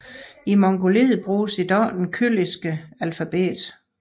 I Mongoliet bruges i dag det kyrilliske alfabet